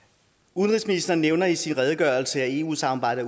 udenrigsministeren nævner i sin redegørelse at eu samarbejdet